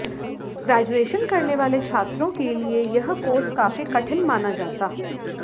graduation करने वाले छात्रों के लिए यह कोर्स काफी कठिन माना जाता